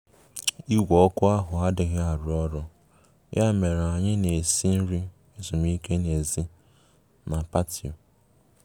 Onye ọbịa nkeji ọbịa nkeji ikpeazụ pụtara, yabụ anyị gbakwunyere oche ndị ọzọ na tebụl Eid